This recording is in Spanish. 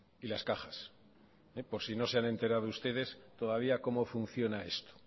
y las cajas por si no se han enterado ustedes todavía cómo funciona esto